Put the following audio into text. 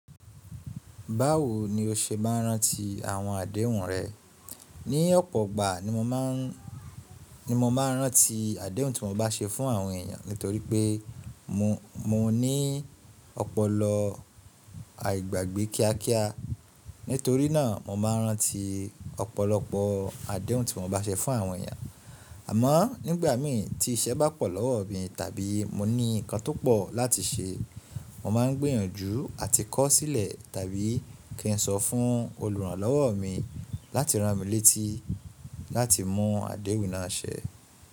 Báwo ni o ṣe máa rántí àwọn àdéhùn rẹ? Ní ọ̀pọ̀ igbà ni mo máa ń, ní mo máa ń rántí àdéhùn tí mo bá ṣe fún àwọn èèyàn nítorí pé mo, mo ní ọpọlọ àìgbàgbé kíá kíá. Nítorí náà mo máa rántí ọ̀pọ̀lọpọ̀ àdéhùn tí mo bá ṣe fún àwọn èèyàn. Àmọ́ nígbà mii tí iṣẹ́ bá pọ̀ lọ́wọ́ mi tàbí mo ní nǹkan tó pọ̀ láti ṣe, mo máa ń gbìyànjú àti kọ̀ sílẹ̀ tàbí kí n sọ fún oluranlowo mi láti rán mi létí láti mú àdéhùn náà ṣẹ.